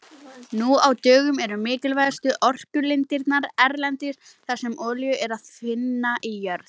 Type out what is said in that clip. Nú á dögum eru mikilvægustu orkulindirnar erlendis þar sem olíu er að finna í jörð.